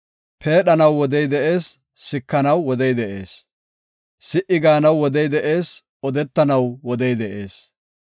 Peedhanaw wodey de7ees; sikanaw wodey de7ees. Si77i gaanaw wodey de7ees; odetanaw wodey de7ees.